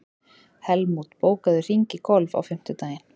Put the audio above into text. Helmút, bókaðu hring í golf á fimmtudaginn.